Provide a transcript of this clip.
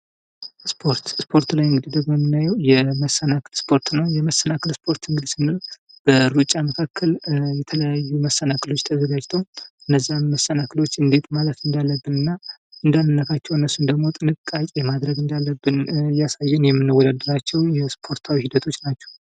ስፖርት ላይ እንግዲህ የመናየው የመሰናክል ስፖርት ነው። የመሰናከል ስፖርት እንግዲህ ስንል ከሩጫ መካከል የተለያዩ መሰናክሎች አታዘጋጅተው እነዛን መሰናክሎች እንዴት ማለፍ እንዳለብን እንዳለብንና እንዳነካቸው እያሳየ የምንወዳደራቸው የስፖርትታዋ ሂደቶች ናቸው።